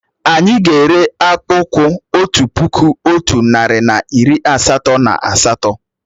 Anyị ga-ere akpùkwú otu puku, otu narị na iri asatọ na asatọ